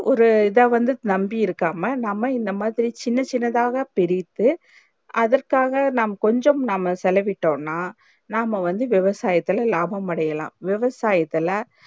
ஒரு இத வந்து நம்பி இருக்காம நாம இந்த மாதிரி சின்ன சின்னதாக பிரித்து அதற்காக நாம் கொஞ்சம் நாம செலவிட்டோனா நாம வந்து விவசாயுத்துல லாபம் அடையலாம் விவசாயத்துள்ள